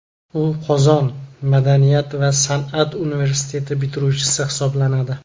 U Qozon madaniyat va san’at universiteti bitiruvchisi hisoblanadi.